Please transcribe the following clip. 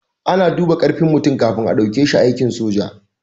A na duba karfin mutum kafin a dauke shi aikin soja